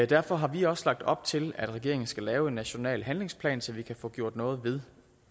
derfor har vi også lagt op til at regeringen skal lave en national handlingsplan så vi kan få gjort noget ved